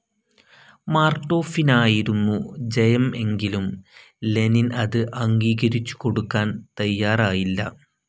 മാർട്ടോഫിനായിരുന്നു ജയം എങ്കിലും ലെനിൻ അത് അംഗീകരിച്ചു കൊടുക്കാൻ തയാറായില്ല.